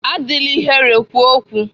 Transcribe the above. Adịla ihere kwuo okwu!